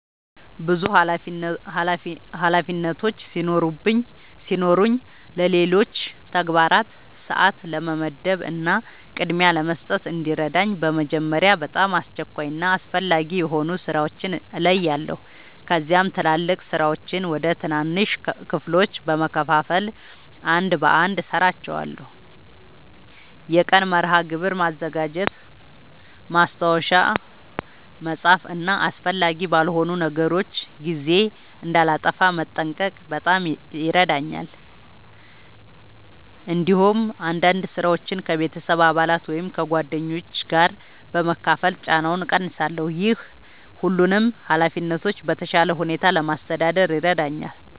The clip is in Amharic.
ብዙ ኃላፊነቶች ሲኖሩኝ ለሌሎች ተግባራት ሰአት ለመመደብ እና ቅድሚያ ለመስጠት እንዲረዳኝ በመጀመሪያ በጣም አስቸኳይ እና አስፈላጊ የሆኑ ሥራዎችን እለያለሁ። ከዚያም ትላልቅ ሥራዎችን ወደ ትናንሽ ክፍሎች በመከፋፈል አንድ በአንድ እሠራቸዋለሁ። የቀን መርሃ ግብር ማዘጋጀት፣ ማስታወሻ መጻፍ እና አስፈላጊ ባልሆኑ ነገሮች ጊዜ እንዳላጠፋ መጠንቀቅ በጣም ይረዳኛል። እንዲሁም አንዳንድ ሥራዎችን ከቤተሰብ አባላት ወይም ከጓደኞች ጋር በመካፈል ጫናውን እቀንሳለሁ። ይህ ሁሉንም ኃላፊነቶች በተሻለ ሁኔታ ለማስተዳደር ይረዳኛል።